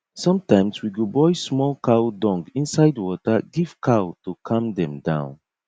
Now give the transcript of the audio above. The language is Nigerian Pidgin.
sometimes we go boil small cow dung inside water give cow to calm dem down